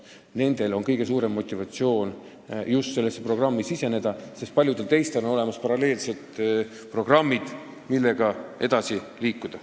Just nendel on kõige suurem motivatsioon sellesse programmi siseneda, sest paljudel teistel on olemas paralleelsed programmid, millega edasi liikuda.